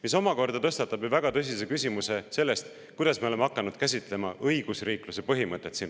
See omakorda tõstatab väga tõsise küsimuse sellest, kuidas me oleme siin riigis hakanud käsitlema õigusriikluse põhimõtet.